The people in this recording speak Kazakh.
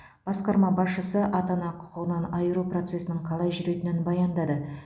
басқарма басшысы ата ана құқығынан айыру процесінің қалай жүретінін баяндады